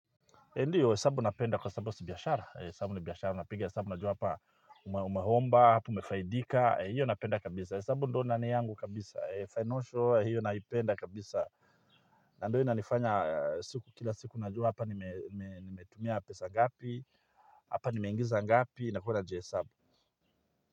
Ndiyo hesabu napenda kwa hesabu si biashara, hesabu ni biashara, napiga hesabu najua hapa umeomba, hapa umefaidika, hiyo napenda kabisa. Hesabu ndio ndani yangu kabisa, financial hiyo naipenda kabisa. Na ndio inanifanya siku kila siku najua hapa nimetumia pesa ngapi, hapa nimeingiza ngapi, nakuwa na hesabu.